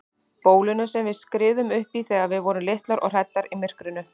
Bólinu sem við skriðum uppí þegar við vorum litlar og hræddar í myrkrinu.